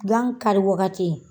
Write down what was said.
Gan kari wagati